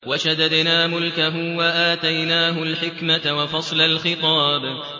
وَشَدَدْنَا مُلْكَهُ وَآتَيْنَاهُ الْحِكْمَةَ وَفَصْلَ الْخِطَابِ